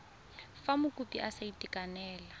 fa mokopi a sa itekanela